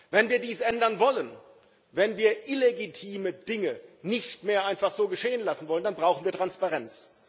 Wenn wir dies ändern wollen, wenn wir illegitime Dinge nicht mehr einfach so geschehen lassen wollen, dann brauchen wir Transparenz.